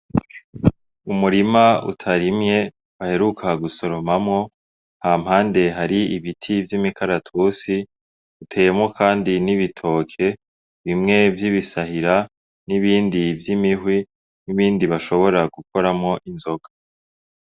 Umurima utarimye, baheruka gusoromamwo. Hampande hari ibiti vy'imikaratusi. Uteyemwo kandi n'ibitoke, bimwe vy'ibisahira, n'ibindi vy'imihwi, n'ibindi bashobora gukoramwo inzoga.